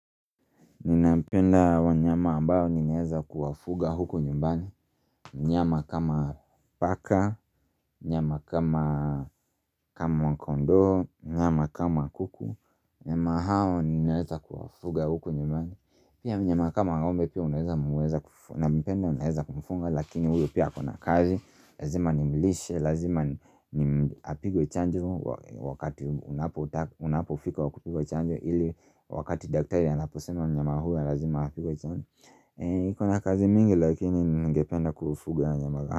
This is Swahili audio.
Ninapenda wanyama ambao ninaeza kuwafuga huko nyumbani mnyama kama paka, mnyama kama kondo, mnyama kama kuku Nyama hao ninaeza kuwafuga huko nyumbani Pia mnyama kama ng'ombe pia unaeza unapenda unapenda kumfunga Lakini uwe pia kona kazi, lazima nimilishe, lazima ni apigwe chanjo Wakati unapofika wakupigwe chanjo ili wakati daktari anaposema mnyama huu ya lazima hapi kwa chani iko na kazi mingi lakini ngependa kufuga nyama huu.